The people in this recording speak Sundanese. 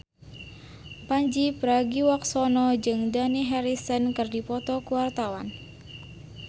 Pandji Pragiwaksono jeung Dani Harrison keur dipoto ku wartawan